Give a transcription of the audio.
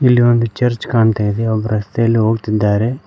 ಇಲ್ಲಿ ಒಂದು ಚರ್ಚ್ ಕಾಣ್ತಾ ಇದೆ ಒಬ್ಬರು ರಸ್ತೆಯಲ್ಲಿ ಹೋಗ್ತಿದ್ದಾರೆ.